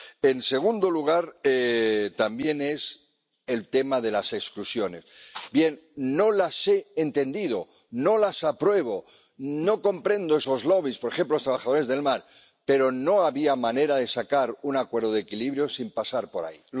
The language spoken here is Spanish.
En segundo lugar, también está el tema de las exclusiones. No las he entendido, no las apruebo, no comprendo esos lobbies —por ejemplo los trabajadores del mar—, pero no había manera de sacar un acuerdo de equilibrio sin pasar por ahí.